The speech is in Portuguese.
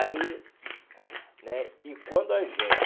Aí, né, e quando a gente...